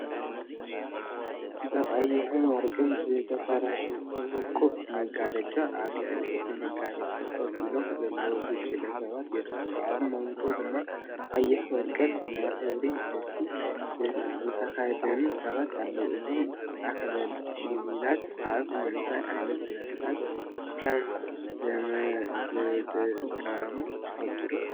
ብቐይሕን ወርቅን ዝተሰርሐ ውቁብ መጋረጃን ኣብ ልዕሊ እቲ መጋረጃ ኮፍ ኢሎም ዘለዉ ጉጅለ ሰባትን ይረኣዩ። ኣብ መንጎ ድማ ቀይሕን ወርቅን ናይ ክብሪ ልብሲ ዝተኸድኑ ሰባት ኣለው። እዞም ኣኽሊላት ኣብ ምንታይ ዓይነት ስነ-ስርዓት ከም ዝጥቀሙ ትፈልጡ ዶ?